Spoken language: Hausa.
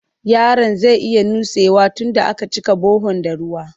Yaron zai iya nutsewa tunda a ka cika bahon da ruwa